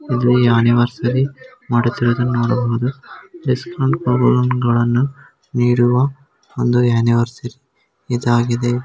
ಇದು ಈ ಆನಿವರ್ಸರಿ ಮಾಡುತ್ತಿರುವುದನ್ನು ನೋಡಬಹುದು ಡಿಸ್ಕೌಂಟ್ ಗಳನ್ನು ನೀಡುವ ಒಂದು ಆನಿವರ್ಸರಿ ಇದಾಗಿದೆ.